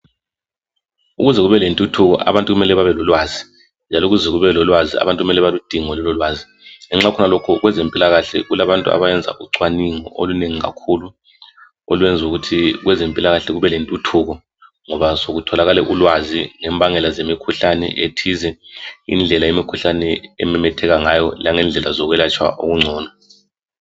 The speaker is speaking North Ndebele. Ukuze kube lentuthuko abantu kumele babe lolwazi njalo ukuze kube lolwazi abantu kumele balidinge lololwazi. Ngenxa yokhonokho kwezempilakahle kulabantu abenza ucwaningo olunengi kakukhulu olwenza ukuthi kwezempilakahle kube lentuthuko ngoba sekutholakale ulwazi ngembangela zemikhuhlane ethize, indlela imikhuhlane ememetheka ngayo langendlela zokwelatshwa okungcono.